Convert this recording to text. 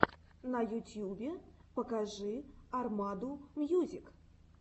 на ютьюбе покажи армаду мьюзик